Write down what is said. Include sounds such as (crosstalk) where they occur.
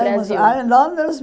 (unintelligible) Aí Londres.